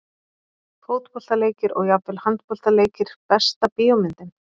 Fótboltaleikir og jafnvel handboltaleikir Besta bíómyndin?